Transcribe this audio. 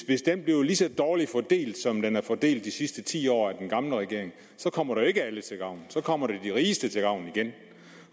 hvis den bliver lige så dårligt fordelt som den er fordelt de sidste ti år af den gamle regering så kommer det jo ikke alle til gavn så kommer det de rigeste til gavn igen